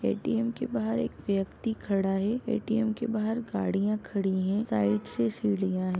ATM के बाहर एक व्यक्ति खड़ा है। ए_टी_एम के बाहर गाडिया खड़ी हैं। साइड से सीढ़ियां है।